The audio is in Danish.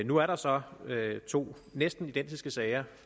nu er der så to næsten identiske sager